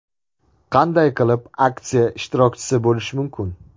Qanday qilib aksiya ishtirokchisi bo‘lish mumkin?